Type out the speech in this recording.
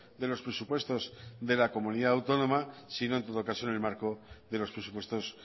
de los presupuestos de la comunidad autónoma sino en todo caso en el marco de los presupuestos